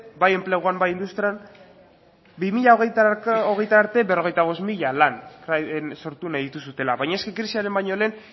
bai enpleguan ba industrian bi mila hogei arte berrogeita bost mila lan sortu nahi dituzuela baina krisiaren baino lehen